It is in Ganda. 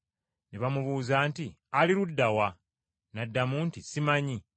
Ne bamubuuza nti, “Ali ludda wa?” N’addamu nti, “Simanyi.”